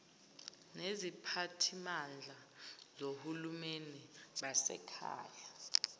neziphathimandla zohulumeni basekhaya